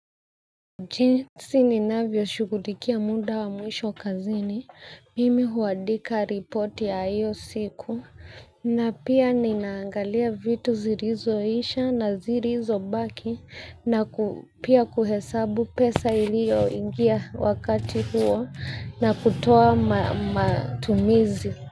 Jinsi ninavyo shughulikia muda wa mwisho kazini, mimi huandika ripoti ya iyo siku, na pia ninaangalia vitu zilizo isha na zilizo baki, na pia kuhesabu pesa ilio ingia wakati huo, na kutoa matumizi.